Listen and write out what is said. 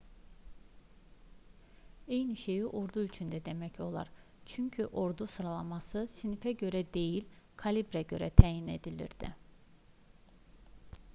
eyni şeyi ordu üçün də demək olar çünki ordu sıralaması sinifə görə deyil kalibrə görə təyin edilirdi